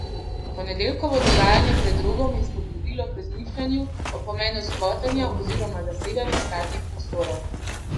Ponedeljkovo dogajanje pred Rogom je spodbudilo k razmišljanju o pomenu skvotanja oziroma zasedanja praznih prostorov.